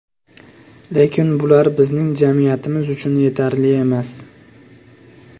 Lekin bular bizning jamiyatimiz uchun yetarli emas.